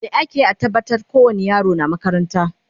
me akeyi a tabbatar ko wani yaro yana makaranta?